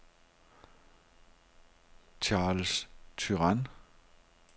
Charles Turan